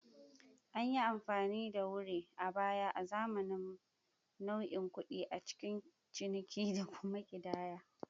An yi amfani da wuree a baya azaman nau'in kuɗi a cikin ciniki da kuma ƙidaya.